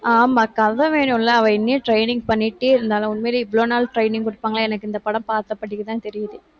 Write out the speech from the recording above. ஆமா, கதை வேணும்ல. அவள் இன்னும் training பண்ணிட்டே இருந்தாலும், உண்மையிலேயே இவ்வளவு நாள் training கொடுப்பாங்களாம். எனக்கு இந்த படம் பார்த்தபடிக்குதான் தெரியுது.